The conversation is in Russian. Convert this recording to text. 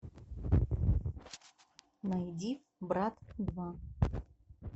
найди брат два